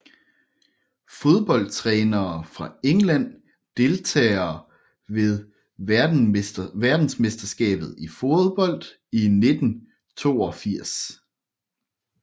Fodboldtrænere fra England Deltagere ved verdensmesterskabet i fodbold 1982